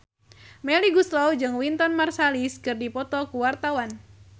Melly Goeslaw jeung Wynton Marsalis keur dipoto ku wartawan